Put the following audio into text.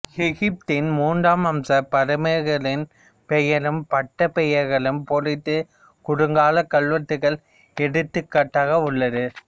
எகிப்தின் மூன்றாம் வம்ச பார்வோன்களின் பெயரும் பட்டப் பெயர்களும் பொறித்த குறுங்கல்வெட்டுகள் எடுத்துக்காட்டாக உள்ள்து